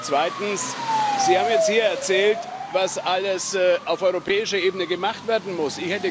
Zweitens Sie haben jetzt hier erzählt, was alles auf europäischer Ebene gemacht werden muss.